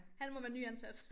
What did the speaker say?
Han må være nyansat